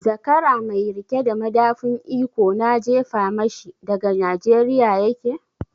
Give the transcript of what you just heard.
Zakara mai riƙe da madafun iko na jefa mashi daga Nijeriya yake?